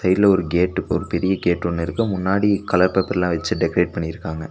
இதுல ஒரு கேட்க்கு ஒரு பெரிய கேட் ஒன்னு இருக்கு முன்னாடி கலர் பேப்பர்லா வெச்சி டெக்கரேட் பண்ணிருக்காங்க.